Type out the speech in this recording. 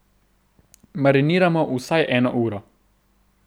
Mariniramo vsaj eno uro.